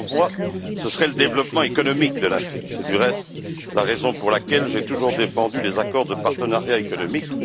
La meilleure voie serait le développement économique de l'Afrique. C'est du reste la raison pour laquelle j'ai toujours défendu les accords de partenariat économique.